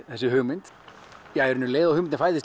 þessi hugmynd um leið og hugmyndin